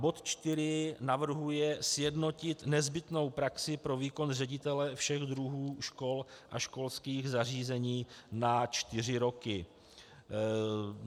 Bod 4 navrhuje sjednotit nezbytnou praxi pro výkon ředitele všech druhů škol a školských zařízení na čtyři roky.